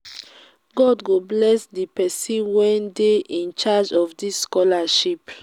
god go bless the person wey dey in charge of dis scholarship